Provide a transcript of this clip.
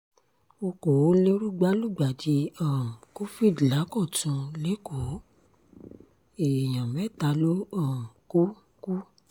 ọkọ̀ọ́lérúgba lùgbàdì um covid lákọ̀tun lẹ́kọ̀ọ́ èèyàn mẹ́ta ló um kù kù